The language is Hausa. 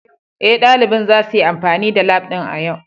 Ee, ɗalibin zasu yi amfani da lab ɗin a yau